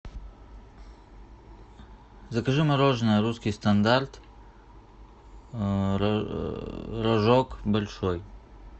закажи мороженое русский стандарт рожок большой